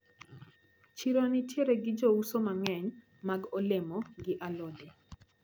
Chiro nitiere gi jouso mang`eny mag olemo gi alode.